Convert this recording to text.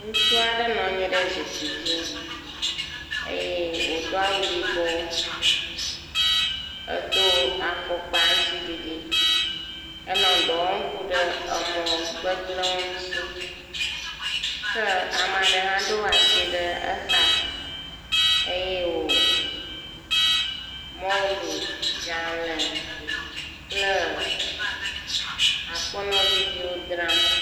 Ŋutsu aɖe nɔ anyi ɖe zikpui dzi eye wodo awu yibɔ edo afɔkpa aŋtsiɖiɖi henɔ dɔ wɔm ku ɖe emɔ gbegblewo ŋuti. Ke ame aɖe hã ɖo asi ɖe exa eye wo mɔlu, dzale kple akpɔnɔ viviow dzram.